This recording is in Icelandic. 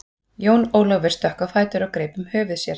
Jón Ólafur stökk á fætur og greip um höfuð sér.